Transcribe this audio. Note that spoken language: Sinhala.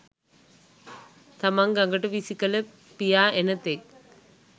තමන් ගඟට විසි කළ පියා එන තෙක්